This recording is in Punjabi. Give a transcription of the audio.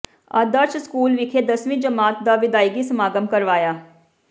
ਆਦਰਸ਼ ਸਕੂਲ ਵਿਖੇ ਦਸਵੀਂ ਜਮਾਤ ਦਾ ਵਿਦਾਇਗੀ ਸਮਾਗਮ ਕਰਵਾਇਆ